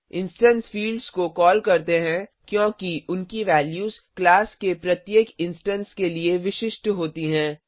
instance fields को call करते हैं क्योंकि उनकी वैल्यूज क्लास के प्रत्येक इंस्टेंस के लिए विशिष्ट होती हैं